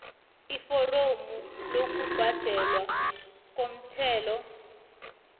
iforomo lokubhadelwa komthelo